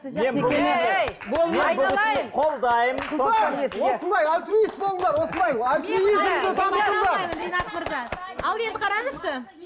ал енді қараңызшы